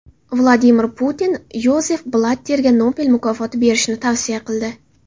Vladimir Putin Yozef Blatterga Nobel mukofoti berishni tavsiya qildi.